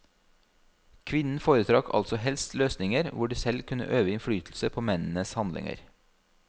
Kvinnen foretrakk altså helst løsninger hvor de selv kunne øve innflytelse på mennenes handlinger.